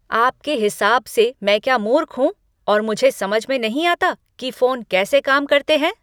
आपके हिसाब से मैं क्या मूर्ख हूँ और मुझे समझ में नहीं आता कि फोन कैसे काम करते हैं?